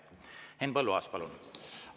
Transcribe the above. Henn Põlluaas, palun!